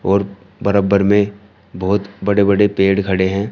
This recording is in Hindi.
और बराबर में बहुत बड़े बड़े पेड़ खड़े हैं।